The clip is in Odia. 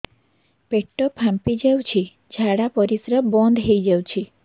ପେଟ ଫାମ୍ପି ଯାଉଛି ଝାଡା ପରିଶ୍ରା ବନ୍ଦ ହେଇ ଯାଉଛି